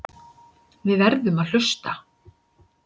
Við verðum að hlusta.